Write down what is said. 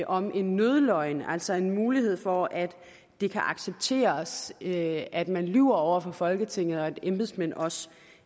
om en nødløgn altså en mulighed for at det kan accepteres at at man lyver over for folketinget og at embedsmænd også